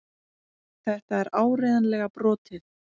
Þetta er áreiðanlega brotið.